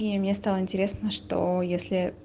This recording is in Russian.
и мне стало интересно что если